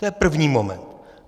To je první moment.